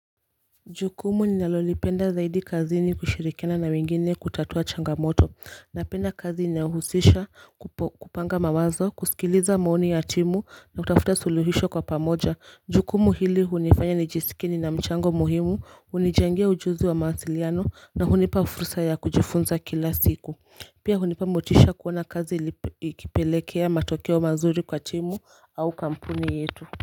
Jukumu ninalolipenda zaidi kazini kushirikiana na wengine kutatua changamoto Napenda kazi inayohusisha kupanga mawazo kusikiliza maoni ya timu na kutafuta suluhisho kwa pamoja Jukumu hili hunifanya nijisike nina mchango muhimu, hunijengea ujuzi wa mawasiliano na hunipa fursa ya kujifunza kila siku Pia hunipa motisha kuona kazi ikipelekea matokeo mazuri kwa timu au kampuni yetu.